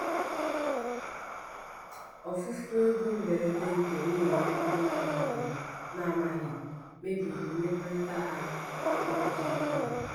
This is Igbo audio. ofufu ego mberede nke nwunye ya ọ na-amaghị na-amaghị mebiri mmekọrịta ha ebe ọ dị ukwuu.